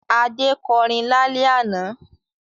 Adé kọrin lálẹ́ àná?